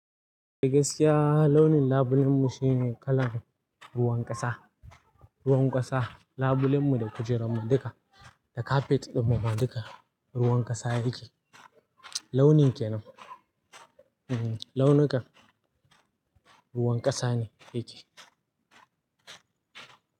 A gaskiya launin labulen mu shine kalar ruwan ƙasa, ruwan ƙasa labulen mu da kujerun mu duka da kafet ɗin mu duka ruwan ƙasa yake, launi kenan, launukan ruwan ƙasa ne yake.